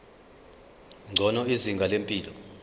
ngcono izinga lempilo